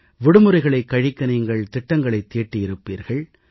விடுமுறைகளைக் கழிக்க நீங்கள் திட்டங்களைத் தீட்டியிருப்பீர்கள்